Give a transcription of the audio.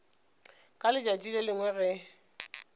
ka letšatši le lengwe ge